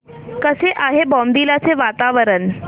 कसे आहे बॉमडिला चे वातावरण